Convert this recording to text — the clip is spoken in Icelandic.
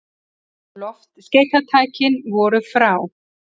Loftskeytatækin voru frá